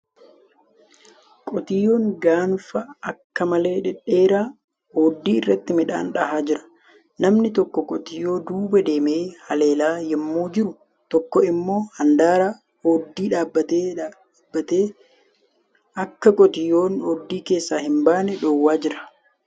Qotiyyoon gaanfa akka malee dhedheeraa ooddii irratti midhaan dha'aa jiru. Namni tokko qotiyyoota duuba deemee haleelaa yemmuu jiru tokko immoo handaara ooddii dhaabatee dhaabbatee akka qotiyyoon ooddii keessaa hin baane dhowwaa jira.